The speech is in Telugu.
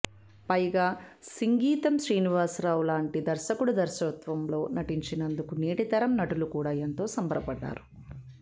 పైగా సింగీతం శ్రీనివాసరావు లాంటి దర్శకుడి దర్శకత్వంలో నటించినందుకు నేటి తరం నటులు కూడా ఎంతో సంబరపడ్డారు